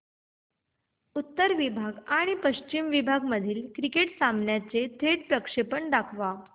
उत्तर विभाग आणि पश्चिम विभाग मधील क्रिकेट सामन्याचे थेट प्रक्षेपण दाखवा